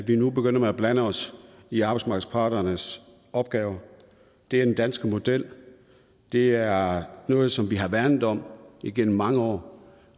vi nu begynder at blande os i arbejdsmarkedsparternes opgave det er den danske model det er noget som vi har værnet om igennem mange år